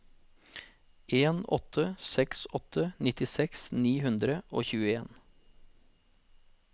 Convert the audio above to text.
en åtte seks åtte nittiseks ni hundre og tjueen